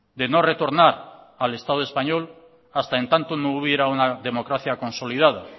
de no retornar al estado español hasta en tanto no hubiera una democracia consolidada